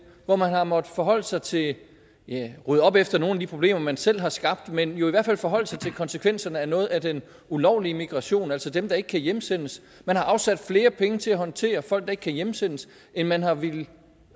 hvor man har måttet forholde sig til at ja rydde op efter nogle af de problemer man selv har skabt men jo i hvert fald forholde sig til konsekvenserne af noget af den ulovlige migration altså dem der ikke kan hjemsendes man har afsat flere penge til at håndtere folk der ikke kan hjemsendes end man har villet